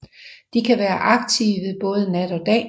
De kan være aktive både nat og dag